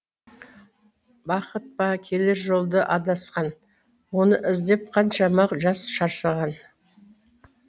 бақыт па келер жолда адасқан оны іздеп қаншама жас шаршаған